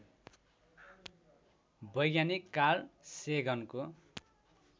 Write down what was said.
वैज्ञानिक कार्ल सेगनको